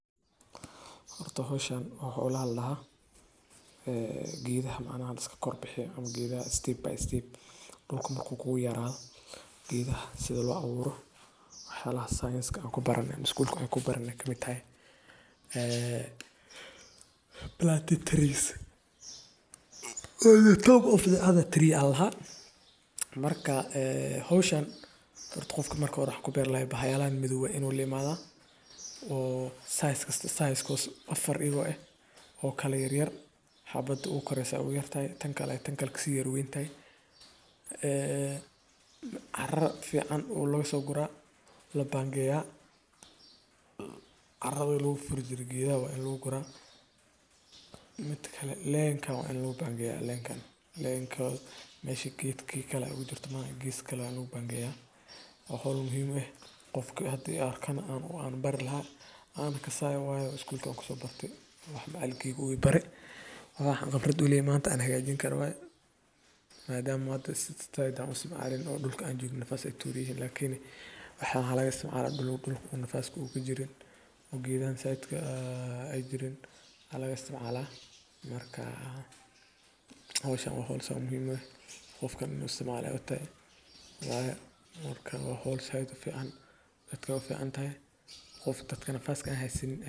Horta howshan waxa ladaha ,howsha geedaha lagu beero waa tallaabo muhiim u ah ilaalinta deegaanka, horumarinta dhirta, iyo dib u cusboonaysiinta nolosha dabiiciga ah. Marka la rabo in la beero geed, waxaa marka hore muhiim ah in la doorto nooca geedka ku habboon cimilada iyo dhulka laga beerayo. Kadib, godad ayaa loo qoda si joogto ah, iyadoo la hubinayo in ay yihiin kuwo qoto dheer oo ku filan xididka geedka. Geedka yar abuur ama goosan ayaa lagu dhex gelinayaa godka, waxaana lagu xiraa si jilicsan dhulkii laga qoday. Marka la beero, waxaa lagama maarmaan ah in si joogto ah loo waraabiyo, loona ilaaliyo cayayaanka, xoolaha, iyo waxyaabaha kale ee waxyeelleyn kara.